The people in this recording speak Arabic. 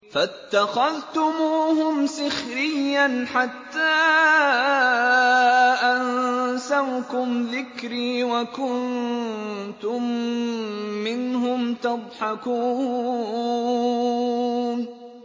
فَاتَّخَذْتُمُوهُمْ سِخْرِيًّا حَتَّىٰ أَنسَوْكُمْ ذِكْرِي وَكُنتُم مِّنْهُمْ تَضْحَكُونَ